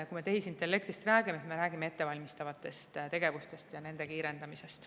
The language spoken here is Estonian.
Kui me tehisintellektist räägime, siis me räägime ettevalmistavatest tegevustest ja nende kiirendamisest.